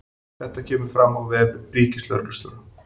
Þetta kemur fram á vef ríkislögreglustjóra